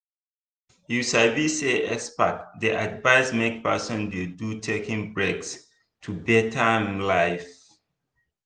you sabi say experts dey advise make person dey do taking breaks to better im life.